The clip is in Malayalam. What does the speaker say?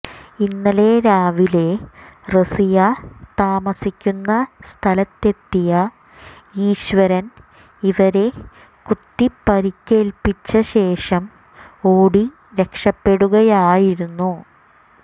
ഇന്നലെ രാവിലെ റസിയ താമസിക്കുന്ന സ്ഥലത്തെത്തിയ ഈശ്വരൻ ഇവരെ കുത്തി പരുക്കേൽപ്പിച്ച ശേഷം ഓടി രക്ഷപ്പെടുകയായിരുന്നു